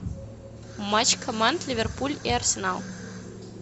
матч команд ливерпуль и арсенал